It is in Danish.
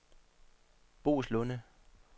Boeslunde